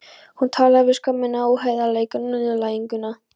Hún talaði um skömmina, óheiðarleikann og niðurlæginguna.